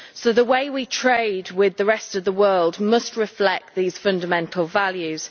The way we trade with the rest of the world must reflect these fundamental values.